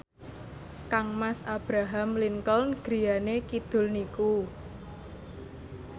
kangmas Abraham Lincoln griyane kidul niku